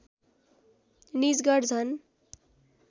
निजगढ झन